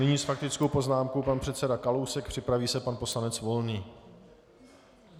Nyní s faktickou poznámkou pan předseda Kalousek, připraví se pan poslanec Volný.